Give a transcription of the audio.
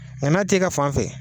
Nka na t' i ka fan fɛ.